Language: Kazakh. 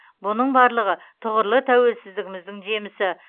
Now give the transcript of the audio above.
бұның барлығы тұғырлы тәуелсіздігіміздің жемісі